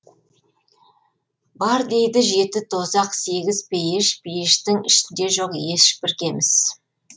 бар дейді жеті тозақ сегіз пейіш пейіштің ішінде жоқ ешбір кеміс